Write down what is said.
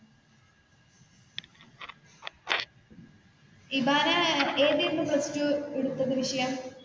ഇബാന ഏതായിരുന്നു plus two എടുത്തത് വിഷയം?